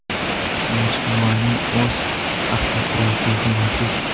Majmuaning o‘z avtoturargohi mavjud.